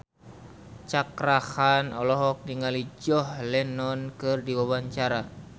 Cakra Khan olohok ningali John Lennon keur diwawancara